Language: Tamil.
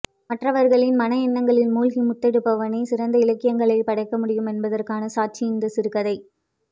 மற்றவர்களின் மனஎண்ணங்களில் மூழ்கி முத்தெடுப்பவனே சிறந்த இலக்கியங்களை படைக்கமுடியும் என்பதற்கான சாட்சி இந்தச் சிறுகதை